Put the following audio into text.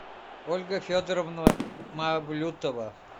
ольга федоровна мавлютова